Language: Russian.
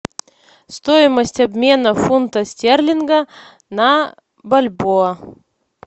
стоимость обмена фунта стерлинга на бальбоа